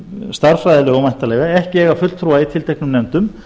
stærðfræðilegum væntanlega ekki eiga fulltrúa í tilteknum nefndum